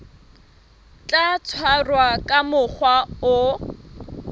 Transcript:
tla tshwarwa ka mokgwa o